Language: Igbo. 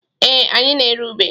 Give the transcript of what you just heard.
Ee, anyị na-ere ube.